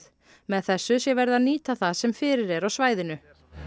með þessu sé verið að nýta það sem fyrir er á svæðinu